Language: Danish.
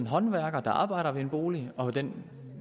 håndværker der arbejder på en bolig og den